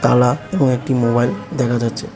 এবং একটি মোবাইল দেখা যাচ্ছে।